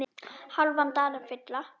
hálfan dalinn fylla